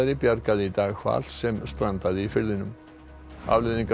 bjargaði í dag hval sem strandaði í firðinum afleiðingar